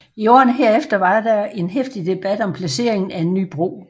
I årene herefter var der en heftig debat om placeringen af en ny bro